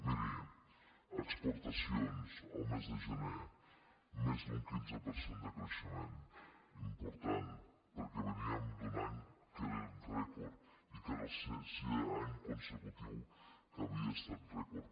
miri exportacions al mes de gener més d’un quinze per cent de creixement important perquè veníem d’un any que era rècord i que era el sisè any consecutiu que havia estat rècord